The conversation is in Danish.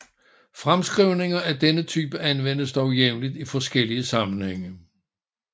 Fremskrivninger af denne type anvendes dog jævnligt i forskellige sammenhænge